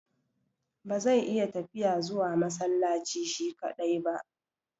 Ba zai iya tafiya zuwa masallaci shi kaɗai ba.